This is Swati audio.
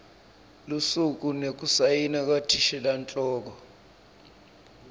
lusuku nekusayina kwathishelanhloko